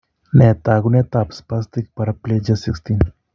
Nee taakunetaab spastic paraplegia 16?